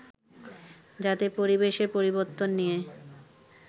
যাতে পরিবেশের পরিবর্তন নিয়ে